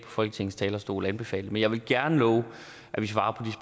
folketingets talerstol anbefale det men jeg vil gerne love at vi svarer